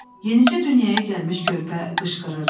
Yenicə dünyaya gəlmiş körpə qışqırırdı.